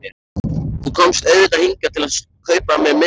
Þú komst auðvitað hingað til að kaupa af mér mynd.